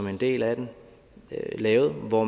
en del af lavede hvor